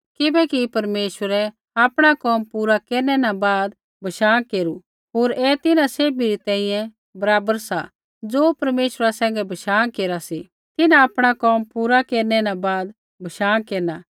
किबैकि परमेश्वरै आपणा कोम पूरा केरनै न बाद बशाँ केरू होर ऐ तिन्हां सैभी री तैंईंयैं बराबर सा ज़ो परमेश्वरा सैंघै बशाँ केरा सी तिन्हां आपणा कोम पूरा केरनै न बाद बशाँ केरना